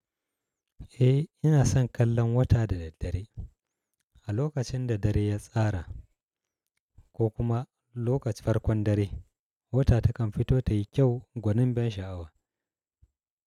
Eh ina son kallon wata da da dare. A lokacin da dare ya tsara ko kuma lokaci farkon dare, wata takan fito ta yi kyau gwanin ban sha'awa.